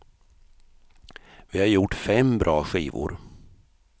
Vi har gjort fem bra skivor.